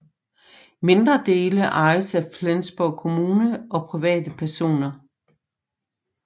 Mindre dele ejes af Flensborg kommune og private personer